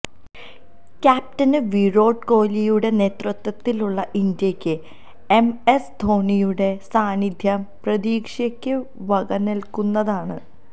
captain Virat കോലിയുടെ നേതൃത്വത്തിലുള്ള ഇന്ത്യയ്ക്ക് എംഎസ് ധോണിയുടെ സാന്നിധ്യം പ്രതീക്ഷയ്ക്ക് വകനല്കുന്നതാണ്